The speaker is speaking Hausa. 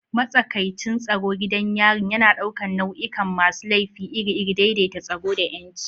Matsakaicin tsaro gidan yarin yana ɗaukar nau'ikan masu laifi iri-iri, daidaita tsaro da 'yanci.